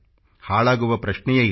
ಹಾಳಾಗುವ ಪ್ರಶ್ನೆಯೇ ಇಲ್ಲ